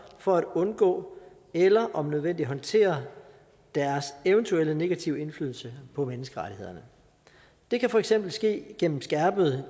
for at undgå eller om nødvendigt håndtere deres eventuelle negative indflydelse på menneskerettighederne det kan for eksempel ske gennem skærpede